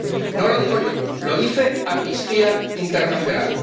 No lo digo yo, lo dice Amnistía Internacional.